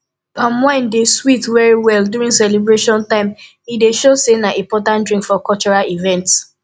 palm wine dey sweet well well during celebration time e dey show sey na important drink for cultural event